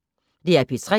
DR P3